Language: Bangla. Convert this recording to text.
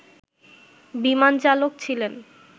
বিমানচালক ছিলেন